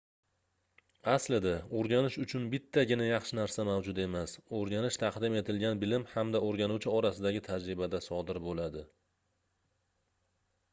aslida oʻrganish uchun bittagina yaxshi narsa mavjud emas oʻrganish taqdim etilgan bilim hamda oʻrganuvchi orasidagi tajribada sodir boʻladi